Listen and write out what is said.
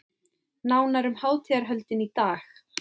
Nánar um hátíðarhöldin í dag